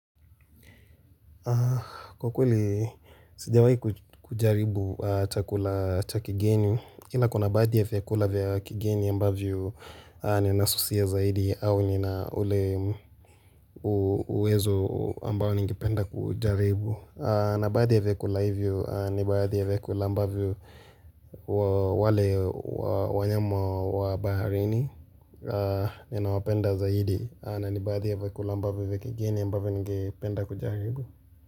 Kwa kweli sijawahi kujaribu chakula cha kigeni, ila kuna baadhi ya vyakula vya kigeni ambavyo ninasusia zaidi au nina ule uwezo ambao ningependa kujaribu. Na baadhi ya vyakula hivyo ni baadhi ya vyakula ambavyo wale wanyama wa baharini ninawapenda zaidi na ni baadhi ya vyakula ambavyo vya kigeni ambavyo ningependa kujaribu.